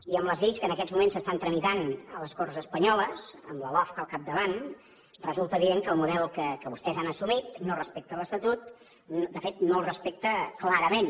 i amb les lleis que en aquests moments s’estan tramitant a les corts espanyoles amb la lofca al capdavant resulta evident que el model que vostès han assumit no respecta l’estatut de fet no el respecta clarament